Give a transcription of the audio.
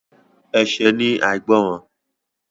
Ẹ̀ṣẹ̀ ni àìgbọràn.